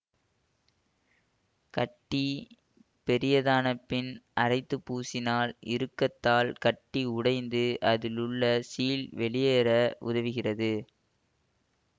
கட்டி பெரியதான பின் அரைத்து பூசினால் இறுக்கத்தால் கட்டி உடைந்து அதிலுள்ள சீழ் வெளியேற உதவுகிறது